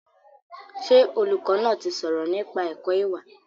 Ṣé olùkọ́ náà ti sọ̀rọ̀ nípa ẹ̀kọ́ ìwà?